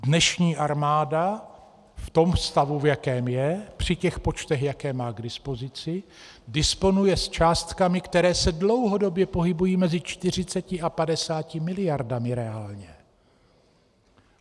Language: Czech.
Dnešní armáda v tom stavu, v jakém je, při těch počtech, jaké má k dispozici, disponuje s částkami, které se dlouhodobě pohybují mezi 40 a 50 miliardami reálně.